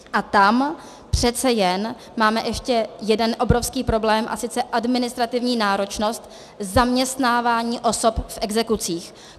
A tam přece jen máme ještě jeden obrovský problém, a sice administrativní náročnost zaměstnávání osob v exekucích.